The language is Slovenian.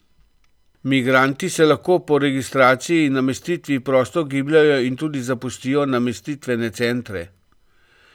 Migranti se lahko po registraciji in namestitvi prosto gibljejo in tudi zapustijo namestitvene centre.